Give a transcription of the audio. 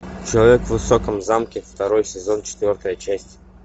человек в высоком замке второй сезон четвертая часть